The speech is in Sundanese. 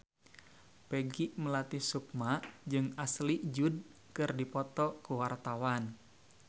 Peggy Melati Sukma jeung Ashley Judd keur dipoto ku wartawan